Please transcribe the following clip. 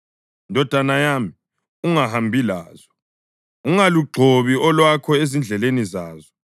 ndodana yami, ungahambi lazo, ungalugxobi olwakho ezindleleni zazo;